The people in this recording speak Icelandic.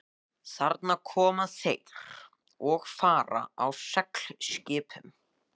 Þarna koma þeir og fara á seglskipunum.